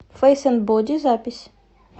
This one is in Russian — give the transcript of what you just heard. фэйс энд боди запись